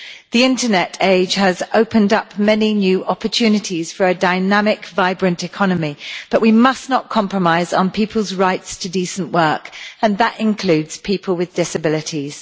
The internet age has opened up many new opportunities for a dynamic, vibrant economy, but we must not compromise on people's rights to decent work and that includes people with disabilities.